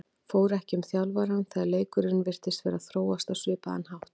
Fór ekki um þjálfarann þegar leikurinn virtist vera að þróast á svipaðan hátt?